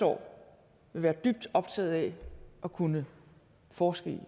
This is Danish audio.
år vil være dybt optaget af at kunne forske i